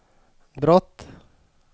brott